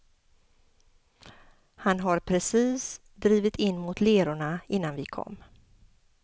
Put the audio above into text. Han har precis drivit in mot lerorna innan vi kom.